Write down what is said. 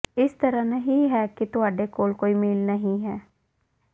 ਇਸ ਤਰ੍ਹਾਂ ਨਹੀਂ ਹੈ ਕਿ ਤੁਹਾਡੇ ਕੋਲ ਕੋਈ ਮੇਲ ਨਹੀਂ ਹੈ